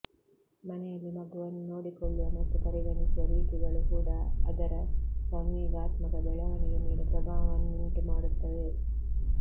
ಮನೆಯಲ್ಲಿ ಮಗುವನ್ನು ನೋಡಿಕೊಳ್ಳುವ ಮತ್ತು ಪರಿಗಣಿಸುವ ರೀತಿಗಳು ಕೂಡ ಅದರ ಸಂವೇಗಾತ್ಮಕ ಬೆಳವಣಿಗೆ ಮೇಲೆ ಪ್ರಭಾವವನ್ನುಂಟು ಮಾಡುತ್ತವೆ